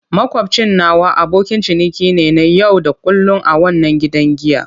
Makwabcin nawa abokin ciniki ne na yau da kullun a wannan gidan giya.